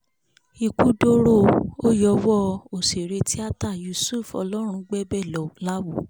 ikú dọ̀rọ̀ ó yọwọ́ọ òṣèré tíáta yusuf ọlọ́rungbẹ́bẹ̀ láwọ